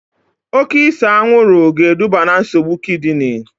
Oke ise anwụrụ ga-eduba na nsogbu kidini